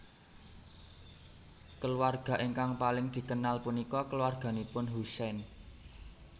Keluarga ingkang paling dikenal punika keluarganipun Husein